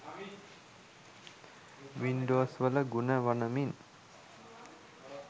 වින්ඩෝස්වල ගුණ වනමින්